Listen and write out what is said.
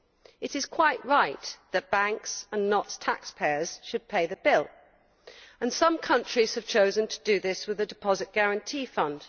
It is quite right that banks and not taxpayers should pay the bill, and some countries have chosen to do this through the Deposit Guarantee Fund.